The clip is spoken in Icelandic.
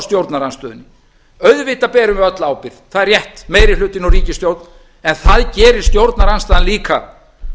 stjórnarandstöðunni auðvitað berum við öll ábyrgð það er rétt meiri hlutinn og ríkisstjórn en það gerir stjórnarandstaðan líka